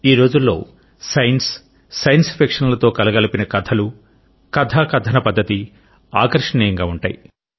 ఈ రోజులలో science science fiction లతో కలగలిపిన కథలు కథా కథన పద్ధతి ఆకర్షణీయంగా ఉంటాయి